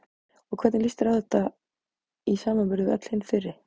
Og hvernig líst þér á þetta í samanburði við öll hin fyrri?